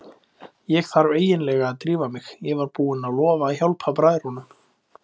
Ég þarf eiginlega að drífa mig, ég var búinn að lofa að hjálpa bræðrunum.